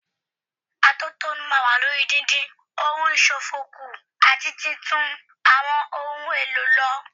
Atótónu máa wà lórí dídín ohun ìṣòfò kù àti títún àwọn ohun èlò lò.